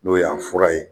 N'o y'a fura ye